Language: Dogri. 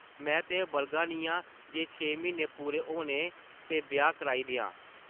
में ते बलगा नी आं जे छे म्हीन्ने पूरे होन ते ब्याह् कराई देआं ।